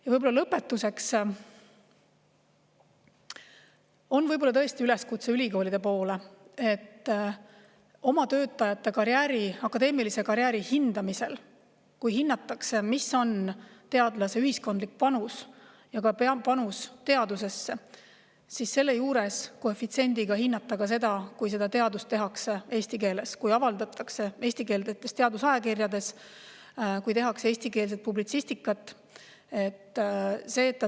Ja lõpetuseks on tõesti üleskutse ülikoolidele: oma töötajate akadeemilise karjääri hindamisel, kui hinnatakse, mis on teadlase ühiskondlik panus ja panus teadusesse, hinnake koefitsiendiga ka seda, kui teadust tehakse eesti keeles, kui avaldatakse eestikeelsetes teadusajakirjades, kui tehakse eestikeelset publitsistikat.